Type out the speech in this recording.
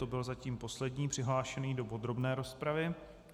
To byl zatím poslední přihlášený do podrobné rozpravy.